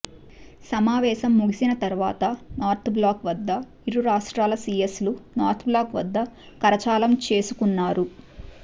సమావేశం ముగిసిన తర్వాత నార్త్ బ్లాక్ వద్ద ఇరు రాష్ట్రాల సీఎస్లు నార్త్ బ్లాక్ వద్ద కరచాలనం చేసుకున్నారు